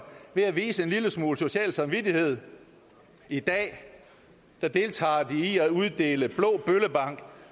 ved at vise en lille smule social samvittighed i dag deltager de i at uddele blå bøllebank